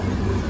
Yola boş qoy.